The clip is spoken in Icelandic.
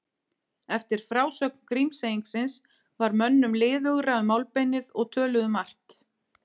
Eftir frásögn Grímseyingsins varð mönnum liðugra um málbeinið og töluðu margt.